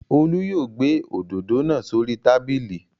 Olú yóò gbé òdòdó náa s'ori tábìlì.